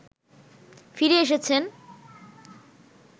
ফিরে এসেছেন